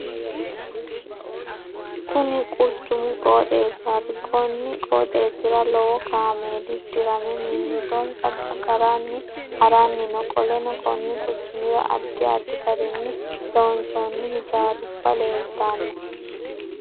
Kunni quchumu qooxeessaati. Konni qooxeesira lowo kaameeli dirame mimitonsa agaranni haranni no. Qoleno konni quchumira addi addi garinni loonsoonni hijaaruba leeltano.